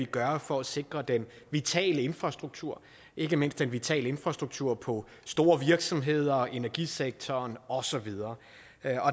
gøre for at sikre den vitale infrastruktur ikke mindst den vitale infrastruktur på store virksomheder i energisektoren og så videre